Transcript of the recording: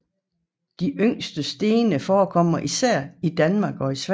De yngre sten forekommer især i Danmark og Sverige